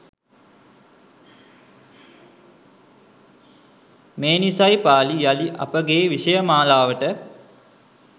මේ නිසයි පාලි යළි අපගේ විෂය මාලාවට